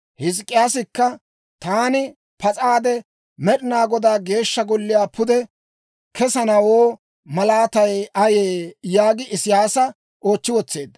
Hizk'k'iyaasikka, «Taani pas'aade Med'inaa Godaa Geeshsha Golliyaa pude kesanawoo malaatay ayee» yaagi Isiyaasa oochchi wotseedda.